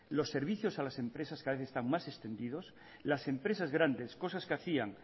los servicios a las empresas cada vez están más extendidos las empresas grandes cosas que hacían